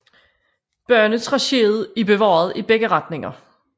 Banetracéet er bevaret i begge retninger